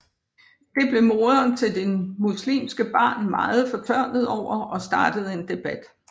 Det blev moderen til det muslimske barn meget fortørnet over og startede en debat